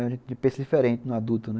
A gente pensa diferente no adulto, né?